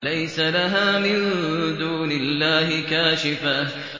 لَيْسَ لَهَا مِن دُونِ اللَّهِ كَاشِفَةٌ